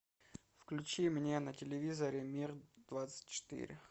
включи мне на телевизоре мир двадцать четыре